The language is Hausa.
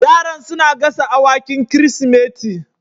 Yaran suna gasa awakin Kirsimeti